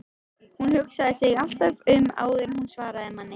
Hún hugsaði sig alltaf um áður en hún svaraði manni.